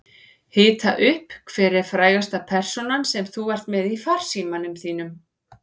Hita upp Hver er frægasta persónan sem þú ert með í farsímanum þínum?